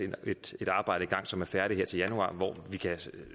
et arbejde i gang som er færdigt her til januar hvor vi kan